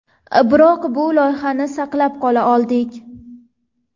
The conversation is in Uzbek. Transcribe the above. Biroq bu loyihani saqlab qola oldik.